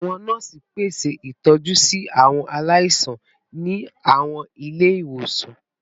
Awọn nọọsi pese itọju si awọn alaisan ni awọn ile-iwosan